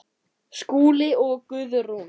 Skúli og Guðrún.